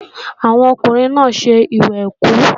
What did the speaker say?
Àwọn ọkùnrin náà ń ṣe ìwẹ̀kú